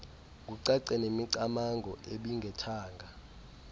kucace nemicamango ebingathanga